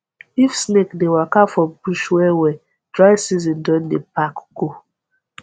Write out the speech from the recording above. if snake dey waka for bush wellwell dry season don dey pack go